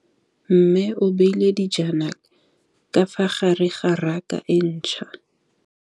Mmê o beile dijana ka fa gare ga raka e ntšha.